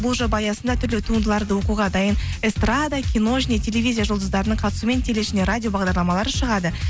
бұл жоба аясында түрлі туындыларды оқуға дайын эстрада кино және телевизия жұлдыздарының қатысуымен теле ішінде радио бағдарламалар шығады